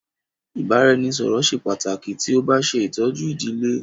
Ibaraẹnisọrọ ṣe pataki ti o ba ṣetọju idile